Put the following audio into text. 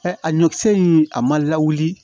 a ɲɔkisɛ in a ma lawuli